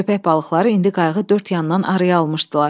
Köpək balıqları indi qayığı dörd yandan araya almışdılar.